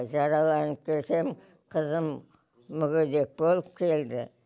жараланып келсем қызым мүгедек болып келді